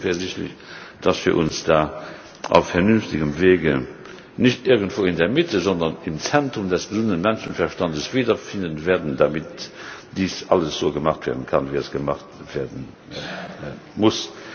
Ich bin zuversichtlich, dass wir uns da auf vernünftigem Wege nicht irgendwo in der Mitte, sondern im Zentrum des gesunden Menschenverstands wiederfinden werden, damit dies alles so gemacht werden kann, wie es gemacht werden muss.